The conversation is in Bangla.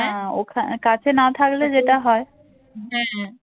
না কাছে না থাকলে যেটা হয়